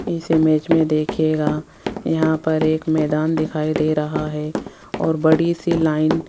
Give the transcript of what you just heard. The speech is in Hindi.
इस इमेज में देखिएगा यहां पर एक मैदान दिखाई दे रहा है और बड़ी सी लाइन ।